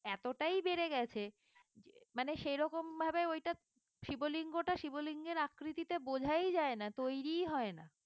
এতটাই বেড়ে গেছে মানে সেরকমভাবে ওইটা শিব লিঙ্গ টা শিবলিঙ্গের আকৃতিতে বোঝাই যায় না তৈরি হয় না